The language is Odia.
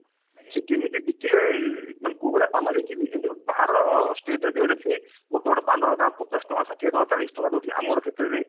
ସେ କେମିତି ବିକିଲେ ମାନେ ମାନେ କୋଉଭଳି ପାନ ବିକିବି ଏମତି ବାହାର state ରେ ଦେଖିବେ ଗୋଟେ ଗୋଟେ ପାନ ଦୋକାନ ତାଙ୍କର ପଚାଶ ଟଙ୍କା ଷାଠିଏ ଟଙ୍କା ଚାଳିଶି ଟଙ୍କା ଦଉଥିବେ ଆମର କ୍ଷେତ୍ରରେ